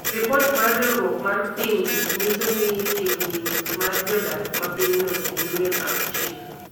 Ripot mar riwruok mar pinje nyiso ni chiegni nus mar jodak ma pinyno - ji milion auchiel